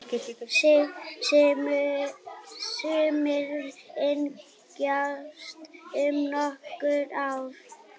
Sumir yngjast um nokkur ár.